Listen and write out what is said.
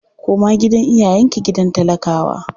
Koma gidan iyayenki gidan talakawa!